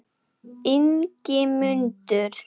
Ingimundur